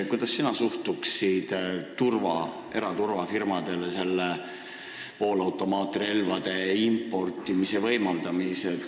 Kuidas sina suhtuksid eraturvafirmadele poolautomaatrelvade importimise võimaldamisse?